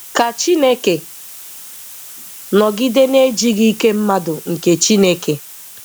Ka Chineke nọgide na-eji gị ike mmadụ nke Chineke!